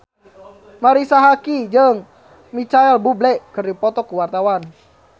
Marisa Haque jeung Micheal Bubble keur dipoto ku wartawan